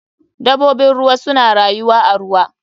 Dabobin ruwa suna rayuwa a ruwa.